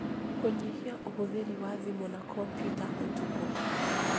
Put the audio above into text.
Kũnyihia ũhũthĩri wa thimũ na kompiuta ũtukũ